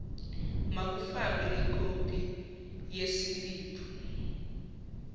makufakwe ikopi yesiliphu